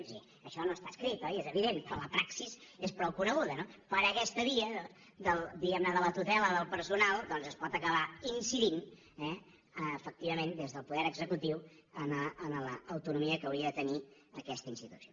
és a dir això no està escrit oi és evident però la praxi és prou coneguda no per aquesta via diguem ne de la tutela del personal doncs es pot acabar incidint efectivament des del poder executiu en l’autonomia que hauria de tenir aquesta institució